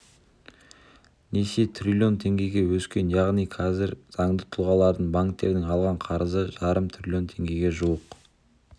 несие триллион теңгеге өскен яғни қазір заңды тұлғалардың банктерден алған қарызы жарым триллион теңгеге жуық